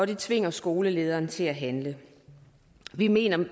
det tvinger skolelederen til at handle vi mener